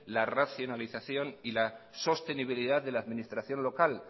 la racionalización y la sostenibilidad de la administración local